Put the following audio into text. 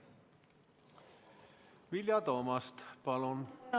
Vilja Toomast, palun!